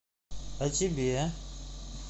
а тебе